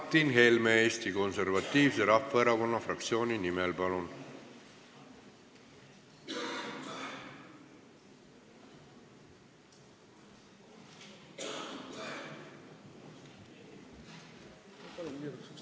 Martin Helme Eesti Konservatiivse Rahvaerakonna fraktsiooni nimel, palun!